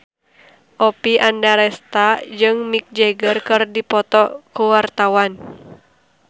Oppie Andaresta jeung Mick Jagger keur dipoto ku wartawan